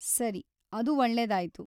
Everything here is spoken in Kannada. ಸರಿ, ಅದು ಒಳ್ಳೆದಾಯ್ತು.